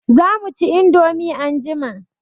Za mu ci indomie anjima.